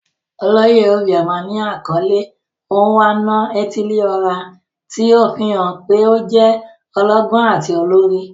Oloye obioma ni akọle "Onwa-na-etili-ora," ti o fihan pe o jẹ ọlọgbọn ati olori.